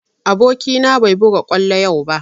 Aboki na bai buga kwallo yau ba